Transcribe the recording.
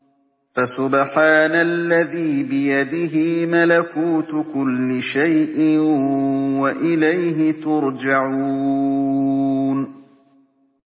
فَسُبْحَانَ الَّذِي بِيَدِهِ مَلَكُوتُ كُلِّ شَيْءٍ وَإِلَيْهِ تُرْجَعُونَ